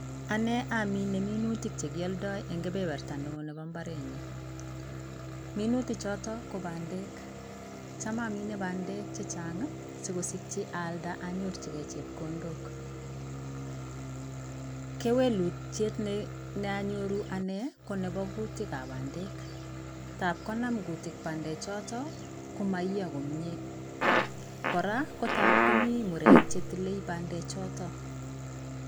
ane amine minutik che kialndai eng kibeberta neoo nebo mbaret nyu. minutik chotok go bandek .chamamine bandek chechang sikosikyi aalnda anyorchigei chepkondok ,kewelutiet ne anyoru ane go nebo kutikab bandek tapkonam kutik bandek chotok koiiyo komie, kora go ngapkomimurek che tile bandek choto